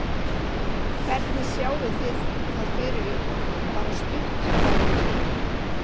Hvernig sjáið þið það fyrir ykkur bara stutt bæði tvö?